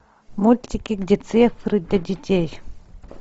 мультики где цифры для детей